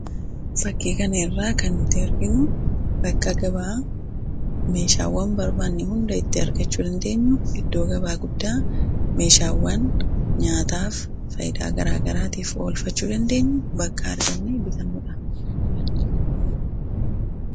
fakkii kanarraa kanuti arginu bakka gabaa meeshaawwan barbaanne hunda itti argachuu dandeenyu iddoo gabaa guddaa meeshaawwan nyaataaf fayyadaan garaagaraatiif oola bakka arganne bitannuudha.